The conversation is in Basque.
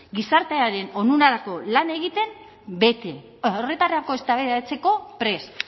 gizartearen onurarako lan egiten bete horretarako eztabaidatzeko prest